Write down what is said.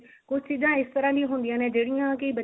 ਕੁਛ ਚੀਜ਼ਾਂ ਇਸ ਤਰਾਂ ਵੀ ਦੀਆਂ ਹੁੰਦੀਆਂ ਨੇ ਜਿਹੜੀਆਂ ਕੀ ਬਚਿਆਂ ਨੂੰ